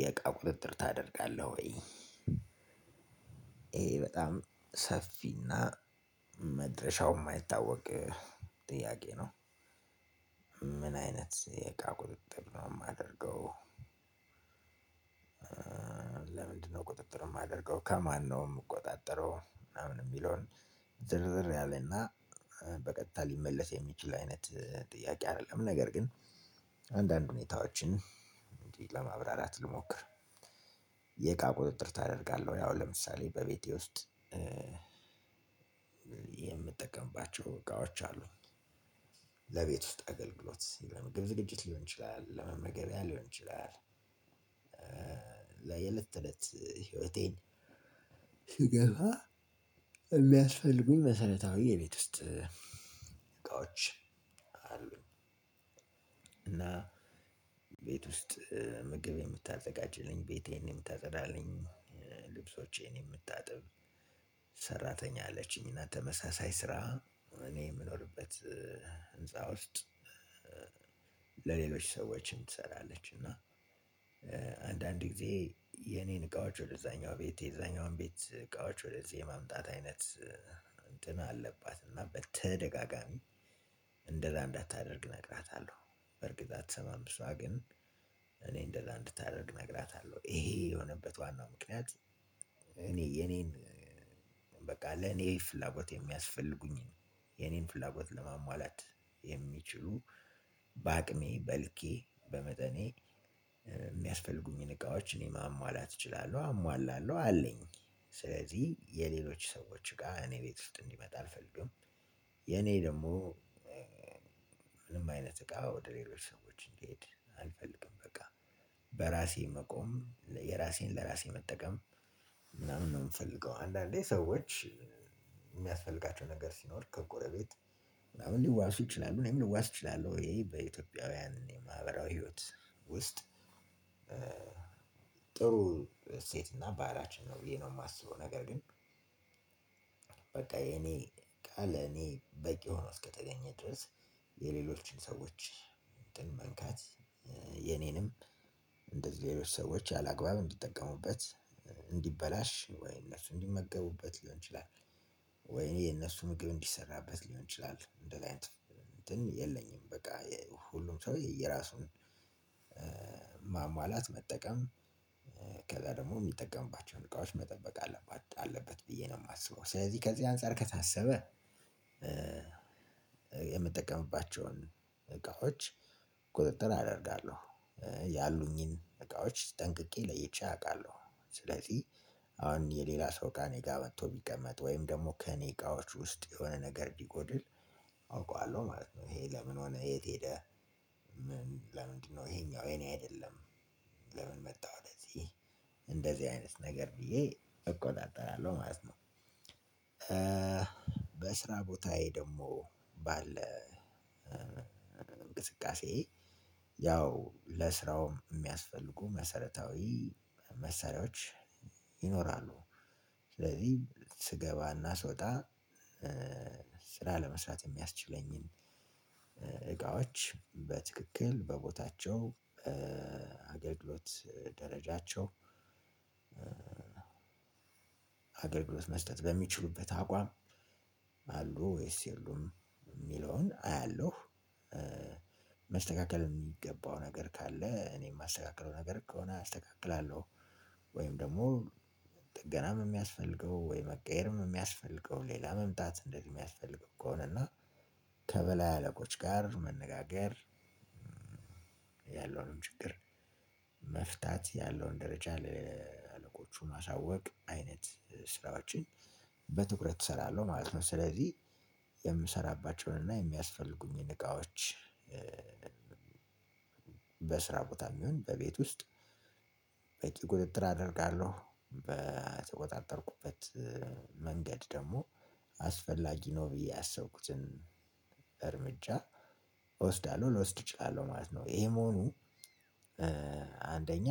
የእቃ ቁጥጥር ታደርጋለህ ወይ? ይሄ በጣም ሰፊና መድረሻው የማይታወቅ ጥያቄ ነው። ምን አይነት የእቃ ቁጥጥር ነው የማደርገው። ለምንድን ነው ቁጥጥር የማደርገው ከማን ነው ምቆጣጠረው? የሚለውን ዝርዝር ያለና በቀጥታ ሊመለስ የሚችል አይነት ጥያቄ አደለም ነገር ግን አንድ አንድ ሁኔታዎችን ለማብራራት ልሞክር። የእቃ ቁጥጥር ታደርጋለህ አሁን ለምሳሌ በቤቴ ውስጥ የምጠቀምባቸው እቃዎች አሉኝ። ለቤት ውስጥ አገልግሎት ውስጥ ምግብ ዝግጅት ሊሆን ይችላል ለመመገቢያ ሊሆን ይችላል። የእለት ተእለት ህይወቴ ሲገባ የሚያስፈልጉኝ የእለት ተእለት መሰረታዊ የቤት ውስጥ እቃዎች አሉ። እና ቤት ውስጥ ምግብ የምታዘጋጅልኝ ቤቴን የምታጸዳልኝ ልብሶቼን የምታጥብ። አለችኝና ተመሳሳይ ስራ እኔ የምኖርበት ህንፃ ውስጥ ለሌሎች ሰዎችም ትሰራለች። እና አንድ አንድ ጊዜ የኔን እቃዎች ወደዛኛው ቤት የዛኛውን ቤት እቃዎች ወደዚህ የማምጣት አይነት እንትን አለባት እና በተደጋጋሚ እንደዛ እንዳታደርግ እነግራታለሁ። በርግጥ አትሰማም እሷ ግን እኔ እንደዛ እንድታደርግ እነግራታለሁ ይሄ የሆነበት ዋናው ምክንያት። እኔ የኔን ለኔ ፍላጎት የሚያስፈልጉኝን የእኔን ፍላጎት ለማሟላት የሚችሉ በአቅሜ በልኬ በመጠኔ የሚያስፈልጉኝን እቃዎች እኔ ማሟላት እችላለሁ አሟላለሁ አለኝ። ስለዚህ የሌሎች ሰዎች ጋር እኔ ቤት ውስጥ እንዲመጣ አልፈልግም። የኔ ደግሞ ምንም አይነት እቃ ወደ ሌሎች ሰዎች እንዲሄድ አልፈልግም በቃ በራሴ መቆም የራሴን ለራሴ መጠቀም ምናምን ነው የምፈልገው። አንዳንዴ ሰዎች የሚያስፈልጋቸው ነገር ሲኖር ከጎረቤት ምናምን ሊዋስ ይችላሉ እኔም ሊዋስ እችላለሁ። ይሄ በኢትዮጵያውያን የማህበራዊ ህይወት ውስጥ ጥሩ እሴት እና ባህላችን ነው። ብዬ ነው የማስበው ነገር ግን። በቃ የኔ ቃል ለኔ በቂ ሆኖ እስከተገኘ ድረስ የሌሎችን ሰዎች እንትን መንካት የኔንም እንደዚህ ሌሎች ሰዎች ያላግባብ እንዲጠቀሙበት እንዲበላሽ ወይም እሱ ሊመገቡበት ሊሆን ይችላል። ወይኔ የነሱ ምግብ እንዲሰራበት ሊሆን ይችላል ሌላ እንትን የለኝም በቃ ሁሉም ሰው የየራሱን ማሟላት መጠቀም። ከዛ ደግሞ የሚጠቀምባቸውን እቃዎች መጠበቅ አለበት አለበት ብዬ ነው የማስበው። ስለዚህ ከዚህ አንፃር ከታሰበ የምጠቀምባቸውን እቃዎች ቁጥጥር አደርጋለሁ። ያሉኝን እቃዎች ጠንቅቄ ለይቼ አውቃለሁ። ስለዚህ አሁን የሌላ ሰው እቃ እኔ ጋር መጥቶ ቢቀመጥ ወይም ደግሞ ከእኔ እቃዎች ውስጥ የሆነ ነገር ቢጎድል። አውቀዋለሁ ማለት ነው። ይሄ ለምን ሆነ የት ሄደ ሄደህ? ለምንድነው ይሄኛው የኔ አይደለም? ለምን መጣሁ ለዚህ? እንደዚህ አይነት ነገር ብዬ እቆጣጠራለሁ ማለት ነው። በስራ ቦታዬ ደግሞ ባለ እንቅስቃሴ ያው ለስራውም የሚያስፈልጉ መሰረታዊ መሰሪያዎች ይኖራሉ ስለዚህ ስገባና ስወጣ ስራ ለመስራት የሚያስችለኝን እቃዎች በትክክል በቦታቸው አገልግሎት ደረጃቸው። አገልግሎት መስጠት በሚችሉበት አቋም አሉ ወይስ የሉም የሚለውን አያለው። መስተካከል የሚገባው ነገር ካለ እኔ የማስተካክለው ነገር ከሆነ አስተካክላለሁ። ወይም ደግሞ ጥገናም የሚያስፈልገው ወይ መቀየርም የሚያስፈልገው ሌላ መምጣት እንደዚህ የሚያስፈልግ እኮ ነው። እና ከበላይ አለቆች ጋር መነጋገር። ያለውንም ችግር መፍታት ያለውን ደረጃ ለአለቆቹ ማሳወቅ አይነት ስራዎችን በትኩረት እሰራለሁ ማለት ነው። ስለዚህ የምሰራባቸውን እና የሚያስፈልጉኝን እቃዎች በስራ ቦታም ይሁን በቤት ውስጥ በቂ ቁጥጥር አደርጋለሁ። በተቆጣጠርኩበት መንገድ ደግሞ አስፈላጊ ነው ብዬ ያሰብኩትን እርምጃ እወስዳለሁ ልወስድ እችላለሁ ማለት ነው። ይሄ መሆኑ አንደኛ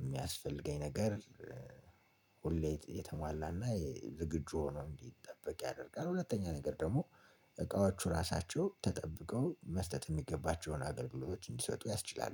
የሚያስፈልገኝ ነገር ሁሌ የተሟላና ዝግጁ ሆኖ እንዲጠበቅ ያደርጋል። ሁለተኛ ነገር ደግሞ እቃዎቹ ራሳቸው ተጠብቀው መስጠት የሚገባቸውን አገልግሎቶች እንዲሰጡ ያስችላሉ